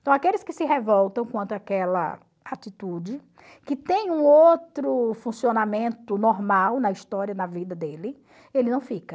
Então aqueles que se revoltam contra aquela atitude, que tem um outro funcionamento normal na história, na vida dele, ele não fica.